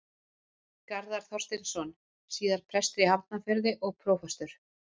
Garðar Þorsteinsson, síðar prestur í Hafnarfirði og prófastur.